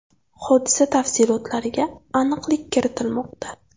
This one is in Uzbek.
Hodisa tafsilotlariga aniqlik kiritilmoqda.